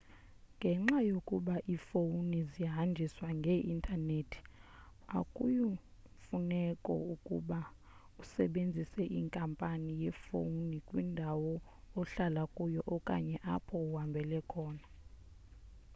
ngenxa yokuba iifowuni zihanjiswa nge-intanethi akuyomfuneko ukuba usebenzise inkampani yefowuni ekwindawo ohlala kuyo okanye apho uhambela khona